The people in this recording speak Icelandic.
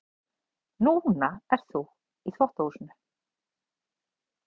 Núna ert þú í þvottahúsinu.